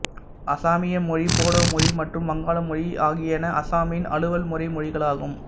அசாமிய மொழி போடோ மொழி மற்றும் வங்காள மொழி ஆகியன அசாமின் அலுவல்முறை மொழிகளாகும்